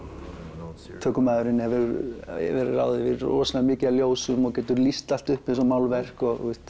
tökumaðurinn hefur yfir að ráða rosalega miklum ljósum og getur lýst allt upp eins og málverk